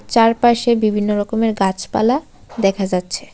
চারপাশে বিভিন্ন রকমের গাছপালা দেখা যাচ্ছে।